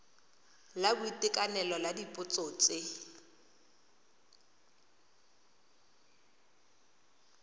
la boitekanelo la dipotso tse